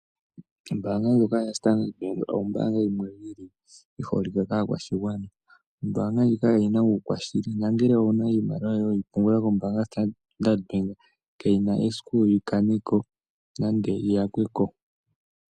Ombaanga yoStandard bank oyi holike kaakwashigwana. Ombaanga ndjika oyina uukwashili nongele owuna iimaliwa yoye yili yoStandard bank kayina esiku yi yakweko.